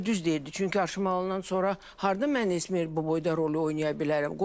Elə düz deyirdi, çünki aşılanandan sonra hardan mən Əsmər bu boyda rolu oynaya bilərəm.